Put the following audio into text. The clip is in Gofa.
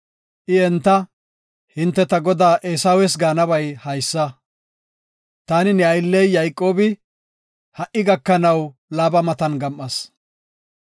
I enta, “Hinte ta godaa Eesawes gaanabay haysa, ‘Taani ne aylley Yayqoobi, ha77i gakanaw Laaba matan gam7as.